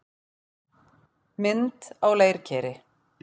Mynd á leirkeri.